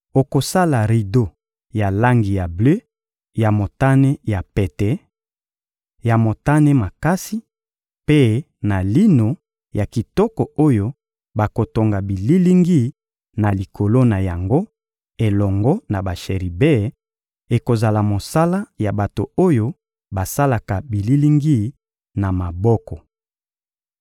Okosala rido ya langi ya ble, ya motane ya pete, ya motane makasi, mpe na lino ya kitoko oyo bakotonga bililingi na likolo na yango, elongo na basheribe; ekozala mosala ya bato oyo basalaka bililingi na maboko.